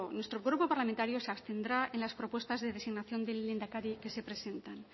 nuestro grupo parlamentario se abstendrá en las propuestas de designación del lehendakari que se presenta